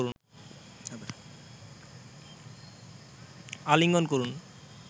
আলিঙ্গন করুন